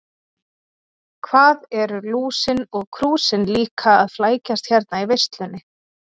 Hvað eru Lúsin og Krúsin líka að flækjast hérna í veislunni.